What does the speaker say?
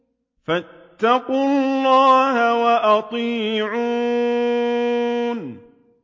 فَاتَّقُوا اللَّهَ وَأَطِيعُونِ